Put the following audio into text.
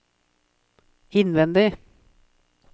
innvendig